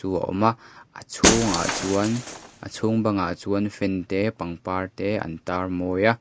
awma a chhungah chuan a chhung bangah chuan fan te pangpar te an tar mawi a.